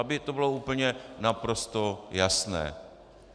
Aby to bylo úplně naprosto jasné.